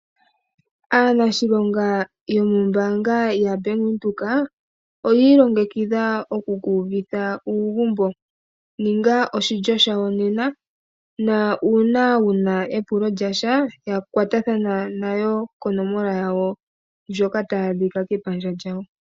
Aaniilonga yomoombanga dhoBank Windhoek oyi ilongekidha oku uvitha uugumbo. Ninga oshilyo shawo nena, nuuna wu na epulo lyontumba, kwatathana nayo koonomola ndhoka tadhi adhika kepandja lyawo.